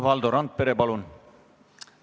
Valdo Randpere, palun!